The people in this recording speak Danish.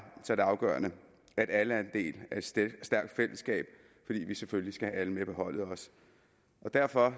er det afgørende at alle er en del af et stærkt fællesskab fordi vi selvfølgelig også skal have alle med på holdet derfor